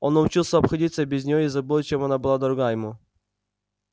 он научился обходиться без нее и забыл чем она была дорога ему